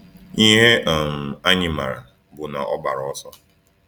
Ihe um anyị maara bụ na ọ gbara ọsọ.